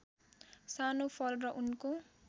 सानो फल र उनको